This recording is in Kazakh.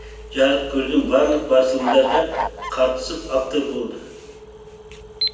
жарық көрген барлық басылымдарға қатысып автор болды